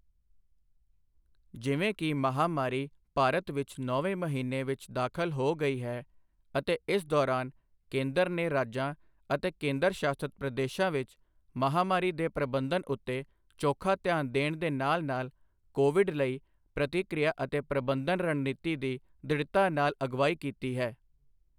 ਜਿਵੇਂ ਕਿ ਮਹਾਮਾਰੀ ਭਾਰਤ ਵਿੱਚ ਨੌਵੇਂ ਮਹੀਨੇ ਵਿੱਚ ਦਾਖ਼ਲ ਹੋ ਗਈ ਹੈ ਅਤੇ ਇਸ ਦੋਰਾਨ ਕੇਂਦਰ ਨੇ ਰਾਜਾਂ ਅਤੇ ਕੇਂਦਰ ਸ਼ਾਸਤ ਪ੍ਰਦੇਸ਼ਾਂ ਵਿੱਚ ਮਹਾਮਾਰੀ ਦੇ ਪ੍ਰਬੰਧਨ ਉੱਤੇ ਚੋਖਾ ਧਿਆਨ ਦੇਣ ਦੇ ਨਾਲ ਨਾਲ ਕੋਵਿਡ ਲਈ ਪ੍ਰਤੀਕ੍ਰਿਆ ਅਤੇ ਪ੍ਰਬੰਧਨ ਰਣਨੀਤੀ ਦੀ ਦ੍ਰਿੜਤਾ ਨਾਲ ਅਗਵਾਈ ਕੀਤੀ ਹੈ।